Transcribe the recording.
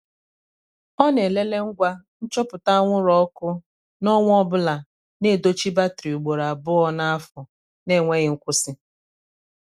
ọ na- elele ngwa nchọpụta anwụrụ ọkụ n' ọnwa ọbụla na edochi batri ugboro abụọ n' afọ na- enweghị nkwụsị.